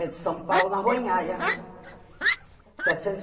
É de São Paulo, na Rua anhaia. Setecentos